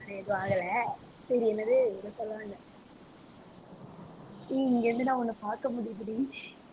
எதுவும் ஆகலை. சரி என்னது ஏதோ சொல்லவந்தேன் ஏய் இங்க இருந்து நான் உன்னை பார்க்க முடியுதுடி